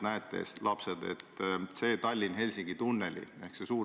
See ei tähenda seda, et tulevikus ei võiks erasektor sinna kampa tulla.